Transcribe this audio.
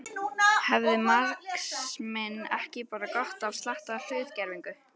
Hefði marxisminn ekki bara gott af slatta af hlutgervingu.